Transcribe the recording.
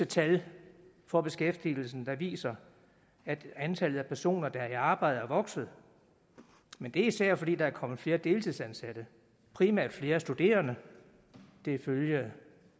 tal for beskæftigelsen der viser at antallet af personer der er i arbejde er vokset men det er især fordi der er kommet flere deltidsansatte primært flere studerende det er ifølge